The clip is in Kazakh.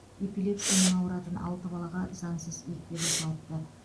эпилепсиямен ауыратын алты балаға заңсыз екпе жасалыпты